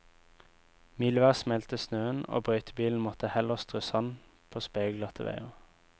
Mildvær smeltet snøen, og brøytebilene måtte heller strø sand på speilglatte veier.